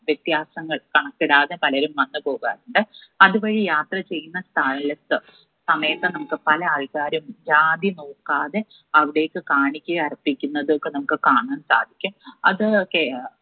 വ്യത്യാസങ്ങൾ കണക്കിടാതെ പലരും വന്ന്‌ പോകാറുണ്ട്. അത് വഴി യാത്ര ചെയ്യുന്ന സ്ഥാലത്ത് സമയത്ത് നമ്മുക്ക് പല ആൾക്കാരും ജാതി നോക്കാതെ അവിടേക്ക് കാണിക്കയർപ്പിക്കുന്നത് ഒക്കെ നമ്മുക്ക് കാണാൻ സാധിക്കും അത് ഒക്കെ